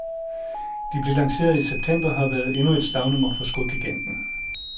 De blev lanceret i september og har været endnu et slagnummer for skogiganten.